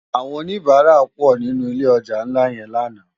Àwòn ónibàrá pò ninú ilé òjá nlá yèn làná